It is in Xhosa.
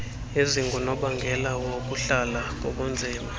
ezingunobangela wokuhla kobunzima